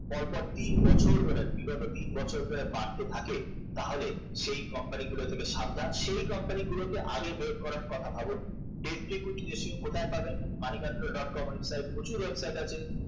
পরপর তিন বছর ধরে বিগত তিন বছর ধরে বাড়তে থাকে তাহলে সেই company গুলো থেকে সাবধান সেই company গুলোকে আগে বের করার কথা ভাবুন equity ratio কোথায় পাবেন money control dot com কম প্রচুর website আছে